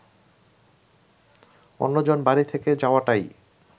অন্যজন বাড়ি থেকে যাওয়াটাই